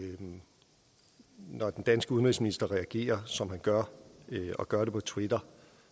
når den danske udenrigsminister reagerer som han gør og gør det på twitter